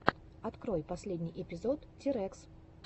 открой последний эпизод тирэкс